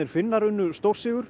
Finnar unnu stórsigur